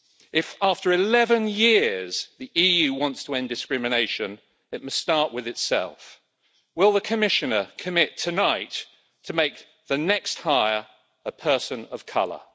If, after eleven years, the EU wants to end discrimination, it must start with itself. Will the Commissioner commit tonight to making the next hire a person of colour.